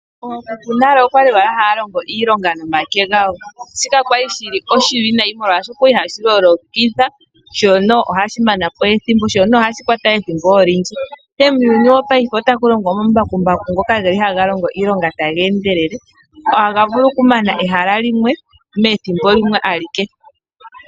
Ookuku nayo oya li haya longo iilonga nomake gawo, shoka sha li oshiwinawyi, oshokaohashi lolodha, ohashi mana po ethimbo sho ohashi kwata ethimbo olindji, ihe muuyuni wongashingeyi otaku longwa omambakumbaku ngok ahaga longo iilonga taga endelele, haga vulu okulonga ehala limwe methimbo limwe alike.